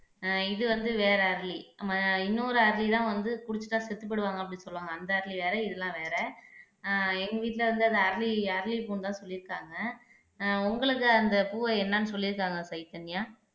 ஆஹ் இது வந்து வேற அரளி இன்னொரு அரளிதான் வந்து குடிச்சிட்டா செத்துப் போயிடுவாங்க அப்படின்னு சொல்லுவாங்க அந்த அரளி வேற இதெல்லாம் வேற ஆஹ் எங்க வீட்டுல வந்து அந்த அரளி அரளிப்பூன்னுதான் சொல்லியிருக்காங்க ஆஹ் உங்களுக்கு அந்த பூவை என்னன்னு சொல்லியிருக்காங்க சைதன்யா